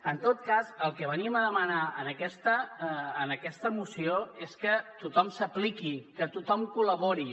en tot cas el que venim a demanar en aquesta moció és que tothom s’apliqui que tothom col·labori